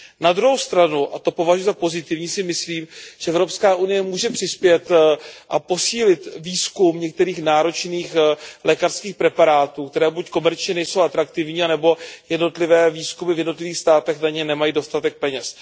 Na druhou stranu, a to považuji za pozitivní, si myslím, že Evropská unie může podpořit a posílit výzkum některých náročných lékařských preparátů, které buď komerčně nejsou atraktivní, nebo jednotlivé výzkumy v jednotlivých státech na ně nemají dostatek peněz.